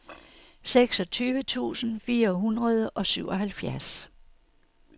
seksogtyve tusind fire hundrede og syvoghalvfjerds